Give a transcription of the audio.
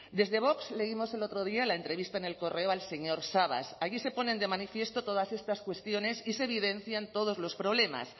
dese vox leímos el otro día la entrevista en el correo al señor sabas allí se ponen de manifiesto todas estas cuestiones y se evidencian todos los problemas